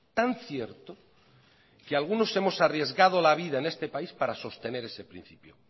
tan cierto que algunos hemos arriesgado la vida en este país para sostener ese principio